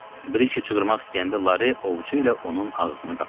Brikey çığırmaq istəyəndə Larey ovucu ilə onun ağzını qapadı.